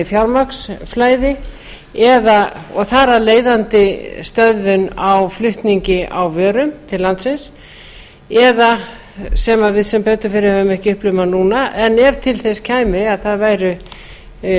fjármagnsflæði og þar af leiðandi stöðvun á flutningi á vörum til landsins eða sem við sem betur fer höfum ekki upplifað núna en ef til þess kæmi að það væru